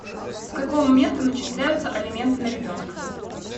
с какого момента начисляются алименты на ребенка